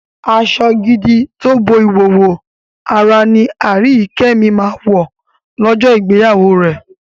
Aṣọ gidi tó bo ìhòòhò ara ni Aríyìíkẹ́ mi máa wọ̀ lọ́jọ́ ìgbéyàwó rẹ̀.